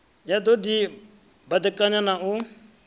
ya do di badekanyana na